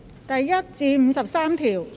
第1至53條。